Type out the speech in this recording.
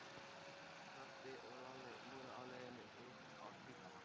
Pabbi og Lalli voru á leiðinni upp á spítala.